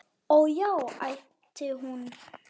Ó, já, æpti hún.